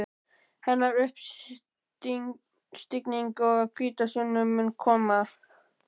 Hennar uppstigning og hvítasunna munu koma.